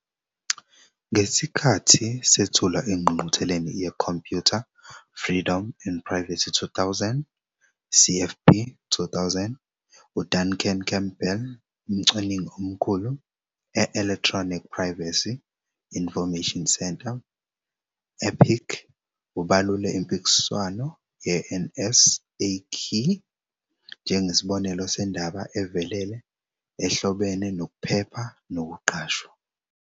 Ngesikhathi sethulwa engqungqutheleni yeComputer, Freedom and Privacy 2000, CFP2000, uDuncan Campbell, umcwaningi omkhulu e- Electronic Privacy Information Center, EPIC, ubalule impikiswano ye-NSAKEY njengesibonelo sendaba evelele ehlobene nokuphepha nokuqashwa.